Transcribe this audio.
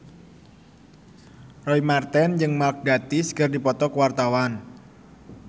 Roy Marten jeung Mark Gatiss keur dipoto ku wartawan